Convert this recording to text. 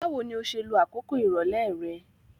Báwoni o se lo àkókò ìrọ̀lẹ́ re